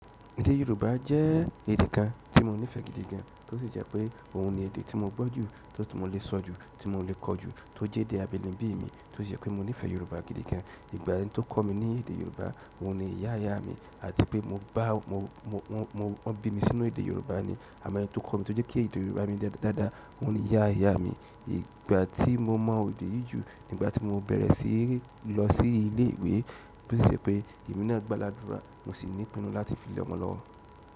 Èdè Yorùbá jẹ́ èdè kan tí mo nífẹ̀ẹ́ gidi gan, tó sì jẹ́ pé òun ni èdè tí mo gbọ́ jù, tó ti mo lè sọ ju, tí mo lè kọ́ jù, tó jẹ́ èdè abínibí mi tó sì jẹ́ pé mo nífẹ̀ẹ́ Yorùbá gidi gan. Ìgbà yẹn ẹni ti o kọ yorùbá òun ní ìyá ìyámi àti pe mo bá, wọn bí mi sínú èdè yorùbá ni àmọ́ ẹni tó kọ́ mi tó jẹ́ kí èdè Yorùbá mi dára, òun ni ìyá ìyá mi. Ìgbà tí mo mọ́ èdè yìí jù, ìgbà tí mo bẹ̀rẹ̀ sí í lọ sí ilé ìwé, tó sì ṣe pé emi ná gbáládùra, mo sì ní ìpinnu láti fi lẹ́ ọmọ lọ́wọ́.